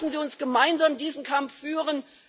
Lassen Sie uns gemeinsam diesen Kampf führen.